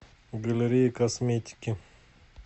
галерея косметики